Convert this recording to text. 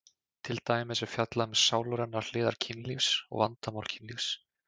Til dæmis er fjallað um sálrænar hliðar kynlífs og vandamál kynlífs.